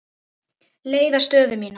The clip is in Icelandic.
leiða stöðu mína.